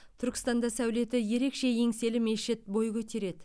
түркістанда сәулеті ерекше еңселі мешіт бой көтереді